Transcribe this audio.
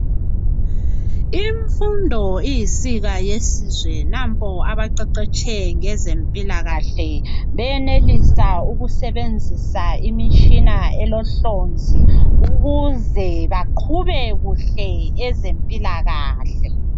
Imfundo iyinsika yesizwe ,nampo abaqeqetshe ngezempilakahle beyenelisa ukusebenzisa imitshina elohlonzi .Ukuze baqube kuhle ezempilakahle.